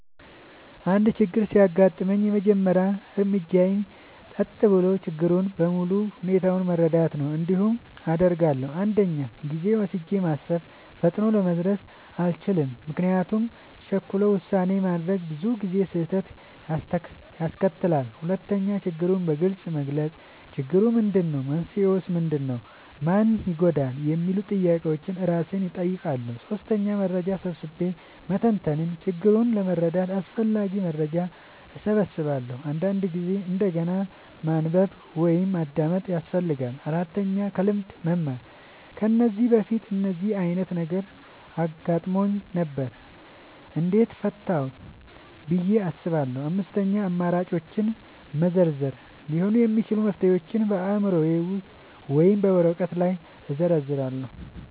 አንድ ችግር ሲያጋጥመኝ፣ የመጀመሪያው እርምጃዬ ጸጥ ብዬ ችግሩን በሙሉ ሁኔታው መረዳት ነው። እንዲህ አደርጋለሁ፦ 1. ጊዜ ወስጄ ማሰብ – ፈጥኖ ለመድረስ አልቸኩልም፤ ምክንያቱም ቸኩሎ ውሳኔ ማድረግ ብዙ ጊዜ ስህተት ያስከትላል። 2. ችግሩን በግልጽ መግለጽ – "ችግሩ ምንድነው? መንስኤው ምንድነው? ማን ይጎዳል?" የሚሉ ጥያቄዎችን እራሴን እጠይቃለሁ። 3. መረጃ ሰብስቤ መተንተን – ችግሩን ለመረዳት አስፈላጊ መረጃ እሰበስባለሁ፤ አንዳንድ ጊዜ እንደገና ማንበብ ወይም ማዳመጥ ያስፈልጋል። 4. ከልምድ መማር – "ከዚህ በፊት እንደዚህ ዓይነት ነገር አጋጥሞኝ ነበር? እንዴት ፈታሁት?" ብዬ አስባለሁ። 5. አማራጮችን መዘርዘር – ሊሆኑ የሚችሉ መፍትሄዎችን በአእምሮዬ ወይም በወረቀት ላይ እዘርዝራለሁ።